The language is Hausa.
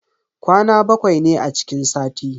Kwana bakwai ne a cikin sati.